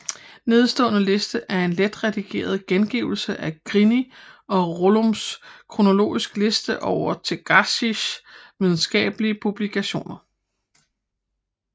Nedenstående liste er en let redigeret gengivelse af Grini og Rollums kronologiske liste over Terzaghis videnskabelige publikationer